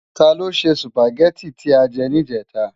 Tá ló sè Súpágèti ti á jè nijètá?